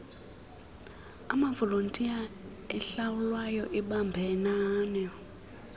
amavolontiya ahlawulwayo ebambanani